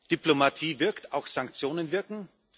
Diplomatie wirkt, auch Sanktionen wirken.